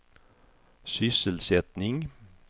sysselsättning